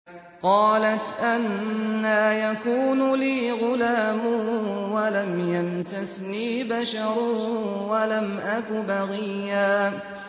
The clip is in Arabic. قَالَتْ أَنَّىٰ يَكُونُ لِي غُلَامٌ وَلَمْ يَمْسَسْنِي بَشَرٌ وَلَمْ أَكُ بَغِيًّا